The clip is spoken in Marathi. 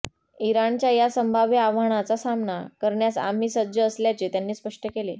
इराणच्या या संभाव्य आव्हानाचा सामना करण्यास आम्ही सज्ज असल्याचे त्यांनी स्पष्ट केले